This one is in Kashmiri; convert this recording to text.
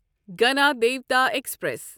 گنادیوتا ایکسپریس